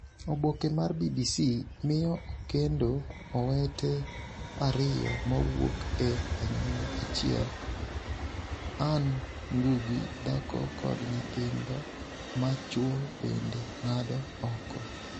Oboke mar BBC: Miyo okendo owete ariyo mawuok e anyuola achiel Anne Ngugi dhako kod nyithindo ma chwo bende ng’ado oko.